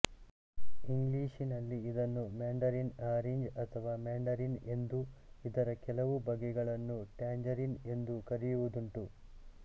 ಇಂಗ್ಲಿಷಿನಲ್ಲಿ ಇದನ್ನು mandarin orange ಅಥವಾ ಮ್ಯಾಂಡರಿನ್ ಎಂದೂ ಇದರ ಕೆಲವು ಬಗೆಗಳನ್ನು ಟ್ಯಾಂಜರಿನ್ ಎಂದೂ ಕರೆಯುವುದುಂಟು